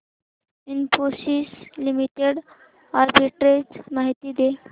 Infosys limited arbitrage माहिती दे